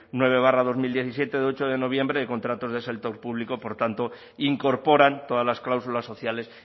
nueve barra dos mil diecisiete de ocho de noviembre de contratos de sector público por tanto incorporan todas las cláusulas sociales